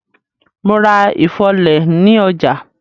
Mo ra ifọ́lẹ̀ ni ọjà.